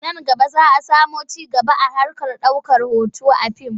Nan gaba za a sami ci gaba a harkar ɗaukar hoto a fim.